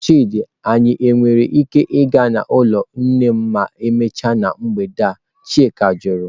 Chidi nwere ike ịga n'ụlọ nne ma emechaa na mgbede a?" Chika jụrụ.